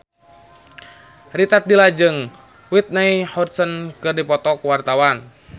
Rita Tila jeung Whitney Houston keur dipoto ku wartawan